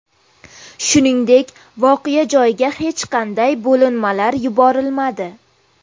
Shuningdek, voqea joyiga hech qanday bo‘linmalar yuborilmadi.